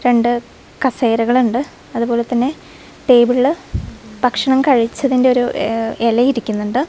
രണ്ട് കസേരകളിണ്ട് അതുപോലെതന്നെ ടേബിളില് ഭക്ഷണം കഴിച്ചതിന്റെ ഒരു ഏഹ് ഇല ഇരിക്കുന്നുണ്ട്.